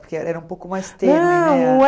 Porque era era um pouco mais